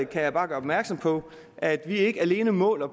kan jeg bare gøre opmærksom på at vi ikke alene måler